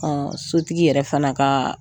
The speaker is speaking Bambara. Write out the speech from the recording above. sotigi yɛrɛ fana ka